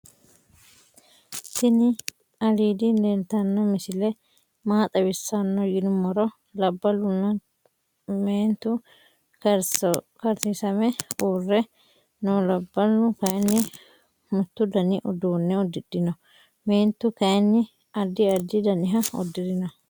tinni al¡ŀľł leltano misile maa xaawisano yinumoro. labaluna kentu karsosame ure noo labalu kayinni muttu daani uduune udiidhino . meentu kaayini addi addi daaniha udiirino.